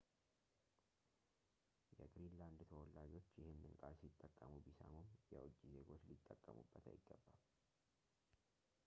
የግሪንላንድ ተወላጆች ይህንን ቃል ሲጠቀሙ ቢሰሙም የውጭ ዜጎች ሊጠቀሙበት አይገባም